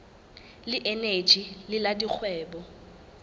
le eneji le la dikgwebo